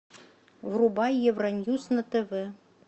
врубай евроньюс на тв